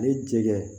Ni jɛgɛ